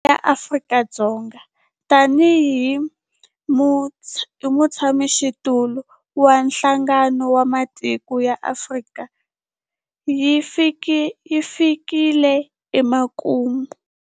Theme ya Afrika-Dzonga tanihi mutshamaxitulu wa Nhlangano wa Matiko ya Afrika yi fikile emakumu.